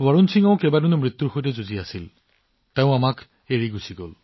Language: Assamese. বৰুণ সিঙেও কেইবাদিনো মৃত্যুৰ সৈতে যুঁজি তাৰ পিছত তেওঁও আমাক এৰি থৈ গৈছিল